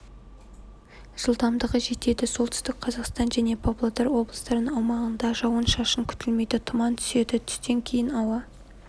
жылдамдығы жетеді солтүстік қазақстан және павлодар облыстарының аумағында жауын-шашын күтілмейді тұман түседі түстен кейін ауа